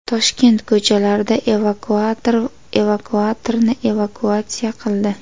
Toshkent ko‘chalarida evakuator evakuatorni evakuatsiya qildi.